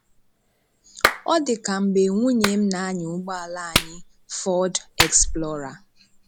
Ọ dị ka ka mgbe nwunye m na-anya ụgbọala anyị Ford Explorer.